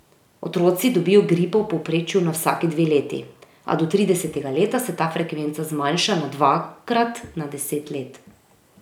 Otroci dobijo gripo v povprečju na vsaki dve leti, a do tridesetega leta se ta frekvenca zmanjša na dvakrat na deset let.